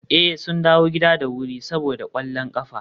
eh, sun dawo gida da wuri saboda kwallon kafa